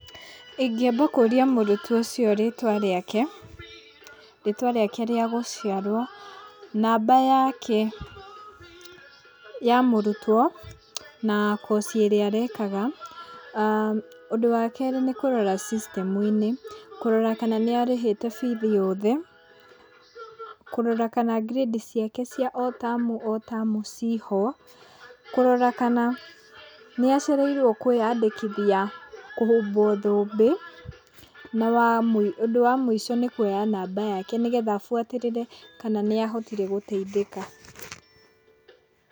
Ingĩamba kũria mũrutwo ũcio rĩtwa rĩake, rĩtwa rĩake rĩagũciarwo, namba yake ya mũrutwo, na course ĩrĩa arekaga. Ũndũ wa kerĩ nĩkũrora system -inĩ, kũrora kana nĩarĩhĩte bithi yothe, kũrora kana ngirĩndi ciake cia o tamu o tamu ciĩho, kũrora kana nĩ acereirwo kwĩyandĩkithia kũhumbwo thũmbĩ, na ũndũ wa mũico nĩkuoya namba yake nĩgetha buatĩrĩre kana nĩ ahotire gũtai thĩka.